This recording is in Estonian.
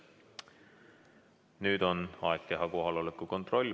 Nüüd on aeg teha kohaloleku kontroll.